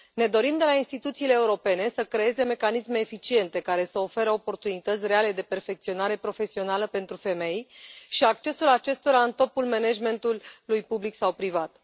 Ne dorim de la instituțiile europene să creeze mecanisme eficiente, care să ofere oportunități reale de perfecționare profesională pentru femei și să asigure accesul acestora în topul managementului public sau privat.